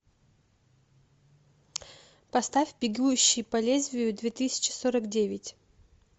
поставь бегущий по лезвию две тысячи сорок девять